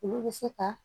Olu bɛ se ka